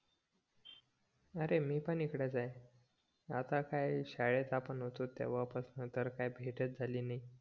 अरे मी पण इकडेच ए आता काय शाळेत आपण होतो तेव्हा पासून काय भेटच झाली नाय